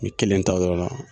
Ni kelen ta